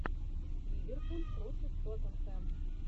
ливерпуль против тоттенхэм